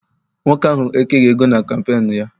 Nwoke ahụ ekeghị ego na kampeenu ya.